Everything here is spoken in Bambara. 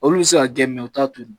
Olu bɛ se k'a gɛn jɛ u t'a to yen